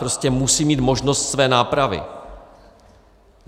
Prostě musím mít možnost své nápravy.